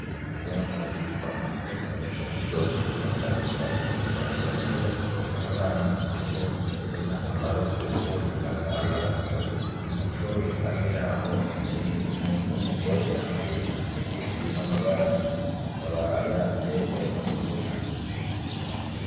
Ivyamwa vyitwa amatunda bikaba biryoshe, na cane cane kubantu bakiri bato, nk'abana bo bifise akamaro kuko bitanga amaraso. Ikindi naco iruhande yaho, hicaye umuntu w'umugore yambaye igitenge kirimwo amabara, akaba yanze ayo matunda.